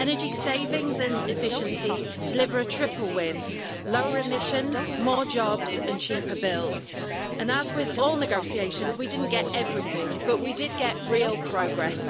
Energy savings and efficiency deliver a triple win lower emissions, more jobs and cheaper bills, and as with all negotiations, we didn't get everything, but we did get real progress.